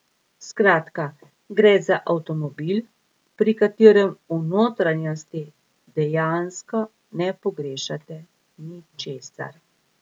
Skratka gre za avtomobil, pri katerem v notranjosti dejansko ne pogrešate ničesar.